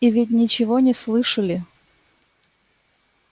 и ведь ничего не слышали